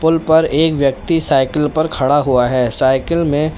Pool पर एक व्यक्ति साइकिल पर खड़ा हुआ है। साइकिल में --